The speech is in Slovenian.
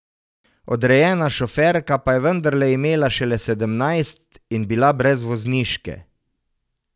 Odrejena šoferka pa je vendarle imela šele sedemnajst in bila brez vozniške.